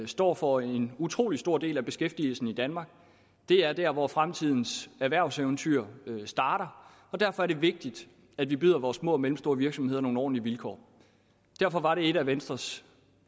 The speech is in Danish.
står for en utrolig stor del af beskæftigelsen i danmark det er der hvor fremtidens erhvervseventyr starter og derfor er det vigtigt at vi byder vores små og mellemstore virksomheder nogle ordentlige vilkår derfor var det et af venstres